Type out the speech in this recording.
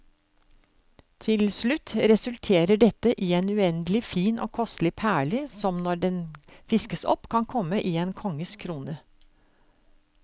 Til slutt resulterer dette i en uendelig fin og kostelig perle, som når den fiskes opp kan komme i en konges krone.